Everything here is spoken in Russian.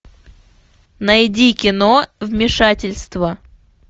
найди кино вмешательство